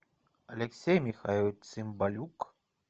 алексей михайлович цымбалюк